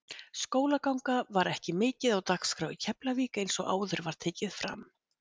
Skólaganga var ekki mikið á dagskrá í Keflavík eins og áður var tekið fram.